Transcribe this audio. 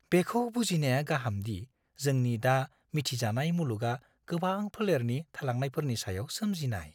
बेखौ बुजिनाया गाहाम दि जोंनि दा मिथिजानाय मुलुगआ गोबां फोलेरनि थालांनायफोरनि सायाव सोमजिनाय।